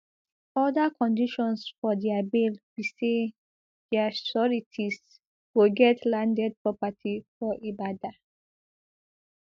oda conditions for dia bail be say dia sureties go get landed property for ibadan